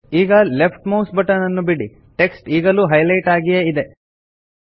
ಈಗ left mouse button ಅನ್ನು ಬಿಡಿ ಟೆಕ್ಸ್ಟ್ ಈಗಲೂ ಹೈಲೆಟ್ ಆಗಿಯೇ ಇದೆ